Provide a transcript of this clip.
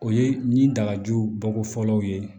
O ye ni dagajugu bɔko fɔlɔ ye